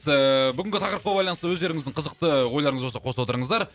ыыы бүгінгі тақырыпқа байланысты өздеріңіздің қызықты ойларыңыз болса қоса отырыңыздар